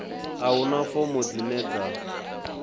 a huna fomo dzine dza